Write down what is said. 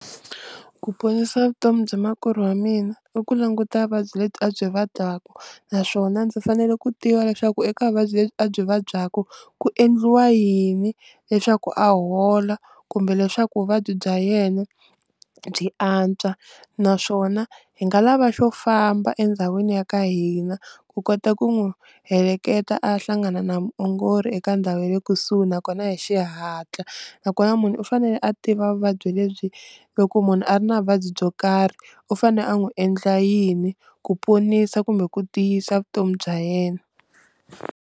Ku ponisa vutomi bya makwerhu wa mina i ku languta vuvabyi lebyi a byi vabyaku naswona ndzi fanele ku tiva leswaku eka vuvabyi lebyi a byi vabyaku ku endliwa yini leswaku a hola kumbe leswaku vuvabyi bya yena byi antswa, naswona hi nga lava xo famba endhawini ya ka hina ku kota ku n'wi heleketa a ya hlangana na muongori eka ndhawu ya le kusuhi nakona hi xihatla, nakona munhu u fanele a tiva vuvabyi lebyi loko munhu a ri na vuvabyi byo karhi u fanele a n'wi endla yini ku ponisa kumbe ku tiyisa vutomi bya yena.